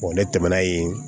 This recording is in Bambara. ne tɛmɛna yen